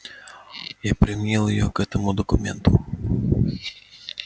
я применил её к этому документу